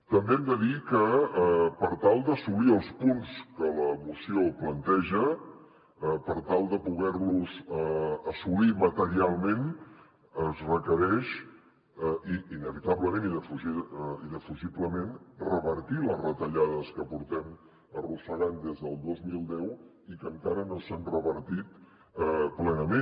també hem de dir que per tal d’assolir els punts que la moció planteja per tal de poder los assolir materialment es requereix inevitablement i indefugiblement revertir les retallades que arrosseguem des del dos mil deu i que encara no s’han revertit plenament